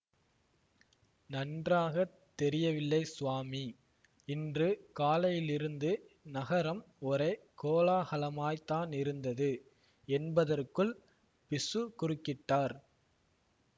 நன்றாக தெரியவில்லை சுவாமி இன்று காலையிலிருந்து நகரம் ஒரே கோலாகலமாய்த்தானிருந்தது என்பதற்குள் பிக்ஷு குறுக்கிட்டார்